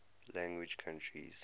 language countries